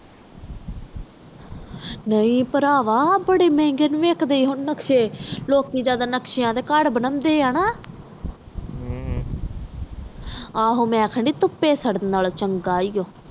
ਨਾਈ ਭਰਾਵਾਂ ਹੁਣ ਬਾਰੇ ਮਹਿੰਗੇ ਵੇਖਣ ਦੇ ਆ ਹੁਣ ਨਕਸ਼ੇ ਲੋਕੀ ਜਾਂਦਾ ਨਕਸ਼ਿਆਂ ਦੇ ਘਰ ਬਣਾਉਂਦੇ ਆ ਨਾ ਮੈਂ ਅਖੰਡ ਤੁਪੀ ਸਰਦਨ ਨਾਲੋਂ ਚੰਗਾ ਏ ਆ